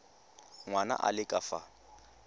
ngwana a le ka fa